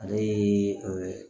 Ale ye